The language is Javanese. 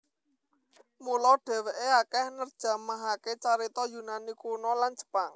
Mula dheweke akeh nerjemahake carita Yunani Kuno lan Jepang